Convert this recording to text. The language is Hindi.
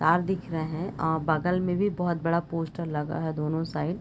तार दिख रहे है आ बगल मे भी बहुत बड़ा पोस्टर लगा है दोनों साइड ।